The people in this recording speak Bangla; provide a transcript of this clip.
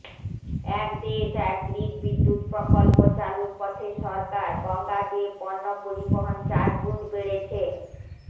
এক দেশ এক গ্রিড বিদ্যুৎ প্রকল্প চালুর পথে সরকার গঙ্গা দিয়ে পণ্য পরিবহণ চারগুণ বেড়েছে